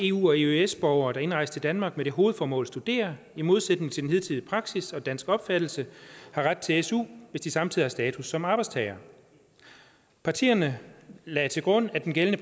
eu og eøs borgere der indrejser til danmark med det hovedformål at studere i modsætning til den hidtidige praksis og dansk opfattelse har ret til su hvis de samtidig har status som arbejdstagere partierne lagde til grund at den gældende